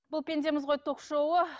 бұл пендеміз ғой ток шоуы